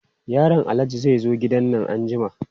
Yaron Alhaji zai zo gidan nan anjima.